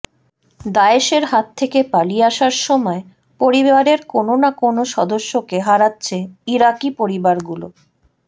দায়েশের হাত থেকে পালিয়ে আসার সময় পরিবারের কোনো না কোনো সদস্যকে হারাচ্ছে ইরাকি পরিবারগুলো